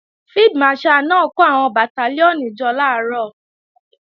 Field Marshal náà kó àwọn Bàtálíọ̀nì jọ làárọ̀